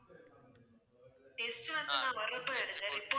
test வந்து நான் வர்றப்ப எடுங்க